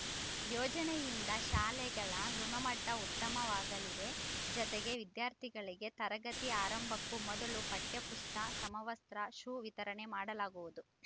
ಯೋಜನೆಯಿಂದ ಶಾಲೆಗಳ ಗುಣಮಟ್ಟಉತ್ತಮವಾಗಲಿದೆ ಜತೆಗೆ ವಿದ್ಯಾರ್ಥಿಗಳಿಗೆ ತರಗತಿ ಆರಂಭಕ್ಕೂ ಮೊದಲು ಪಠ್ಯಪುಸ್ತ ಸಮವಸ್ತ್ರ ಶೂ ವಿತರಣೆ ಮಾಡಲಾಗುವುದು